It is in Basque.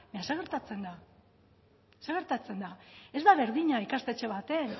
baina zer gertatzen da zer gertatzen da ez da berdina ikastetxe batean